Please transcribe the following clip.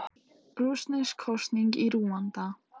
Rússnesk kosning í Rúanda